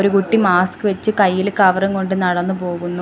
കുട്ടി മാസ്ക് വെച്ച് കയ്യില് കവറും കൊണ്ട് നടന്ന് പോകുന്നു.